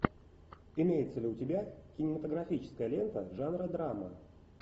имеется ли у тебя кинематографическая лента жанра драма